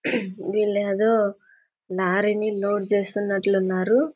వీళ్ళేదో లారీ ని లోడ్ చేస్తున్నట్లున్నారు.